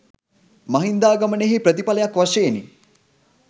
මහින්දාගමනයෙහි ප්‍රතිඵලයක් වශයෙනි.